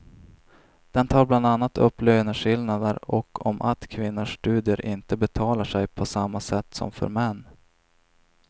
Den tar bland annat upp löneskillnader och om att kvinnors studier inte betalar sig på samma sätt som för män.